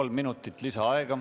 Kolm minutit lisaaega.